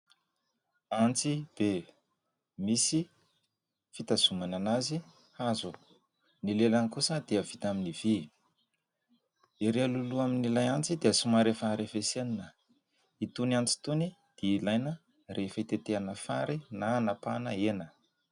Antsy be, misy fitazonana azy hazo, ny lelany kosa dia vita amin'ny vy, ery alohaloha amin'ilay antsy dia somary efa arafesenina. Itony antsy itony dia ilaina rehefa hitetehana fary na hanapahana hena.